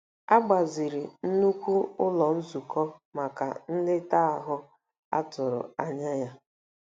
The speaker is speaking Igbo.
A gbaziri nnukwu ụlọ nzukọ maka nleta ahụ a tụrụ anya ya.